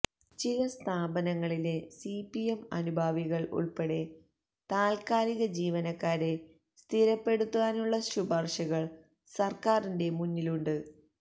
ചില സ്ഥാപനങ്ങളിലെ സിപിഎം അനുഭാവികൾ ഉൾപ്പെടെ താൽക്കാലിക ജീവനക്കാരെ സ്ഥിരപ്പെടുത്താനുള്ള ശുപാർശകൾ സർക്കാരിന്റെ മുന്നിലുണ്ട്